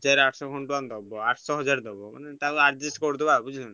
ହଜାର ଆଠସହ ଖଣ୍ଡେ ଟଙ୍କା ଦବ ଆଠସହ ହଜାର ଦବ। ତାକୁ adjust କରିଦବା ଆଉ ବୁଝିଲୁ।